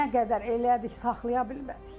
Nə qədər elədik saxlaya bilmədik.